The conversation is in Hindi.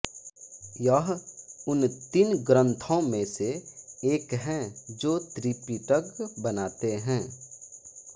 यह उन तीन ग्रंथौं में से एक है जो त्रिपिटक बनाते है